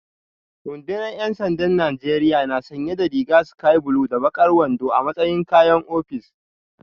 Rundunar ‘yan sandan Najeriya na sanye da rigar sky blue da bakar wando a matsayin kayan ofis